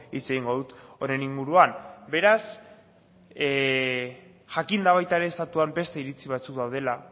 hitz egingo dut honen inguruan beraz jakinda baita ere estatuan beste iritzi batzuk daudela